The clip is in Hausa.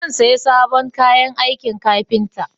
Zan saya sabon kayan aikin kafinta